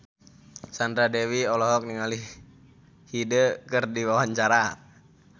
Sandra Dewi olohok ningali Hyde keur diwawancara